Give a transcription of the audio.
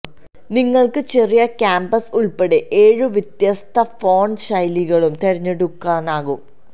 നിങ്ങൾക്ക് ചെറിയ ക്യാപ്സ് ഉൾപ്പെടെ ഏഴ് വ്യത്യസ്ത ഫോണ്ട് ശൈലികളും തിരഞ്ഞെടുക്കാനാകും